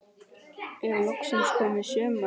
Er loksins komið sumar?